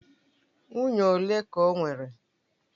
Nwunye ole ka o nwere?